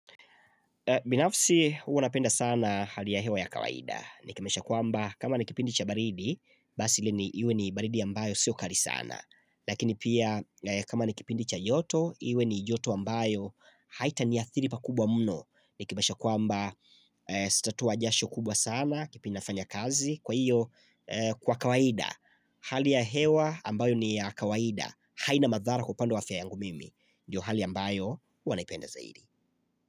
Binafsi huwa napenda sana hali ya hewa ya kawaida Nikimaansha kwamba kama ni kipindi cha baridi Basi ile ni iwe ni baridi ambayo siyo kali sana Lakini pia kama nikipindi cha joto Iwe ni joto ambayo haitaniathiri pakubwa mno Nikimaanisha kwamba sitatoa jasho kubwa sana Kipindi nafanya kazi kwa hiyo kwa kawaida Hali ya hewa ambayo ni ya kawaida haina madhara kwa upande wa afya yangu mimi Ndio hali ambayo huwa naipenda zaidi.